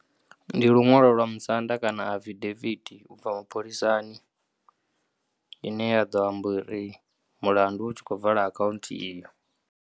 Ndi luṅwalo lwa musanda kana afidaviti ibvaho mapholisani ine ya ḓo amba uri mulandu u tshi kho vala akhunthu iyo.